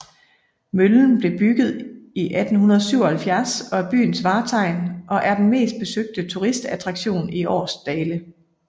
Møllen blev bygget i 1877 og er byens vartegn og er den mest besøgte turistattraktion i Aarsdale